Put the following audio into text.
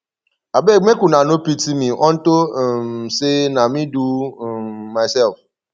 abeg make una no pity me unto um say na me do um myself